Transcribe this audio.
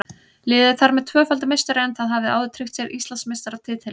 Liðið er þar með tvöfaldur meistari en það hafði áður tryggt sér Íslandsmeistaratitilinn.